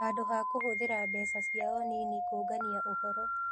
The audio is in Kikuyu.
Handũ ha kũhũthĩra mbeca ciao nini kũũngania ũhoro.